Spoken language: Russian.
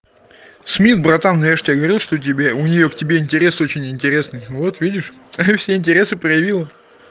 смит братан я же тебе говорил что тебе у неё к тебе интерес очень интересный вот видишь и все интересы проявила